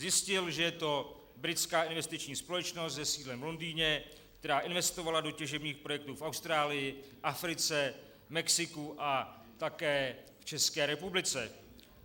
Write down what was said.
Zjistil, že je to britská investiční společnost se sídlem v Londýně, která investovala do těžebních projektů v Austrálii, Africe, Mexiku a také v České republice.